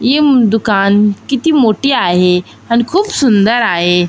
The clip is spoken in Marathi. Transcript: इम दुकान किती मोठी आहे अण खुप सुंदर आहे.